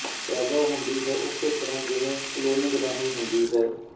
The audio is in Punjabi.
ਪੈਦਾ ਹੁੰਦੀ ਹੈ ਉਸੇ ਤਰ੍ਹਾਂ ਜਿਵੇਂ ਕਲੋਨਿੰਗ ਰਾਹੀਂ ਹੁੰਦੀ ਹੈ